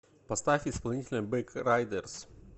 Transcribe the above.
поставь исполнителя бэг райдерс